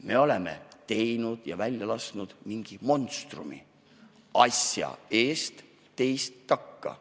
Me oleme teinud ja valla päästnud mingi monstrumi – asja ees, teist takka.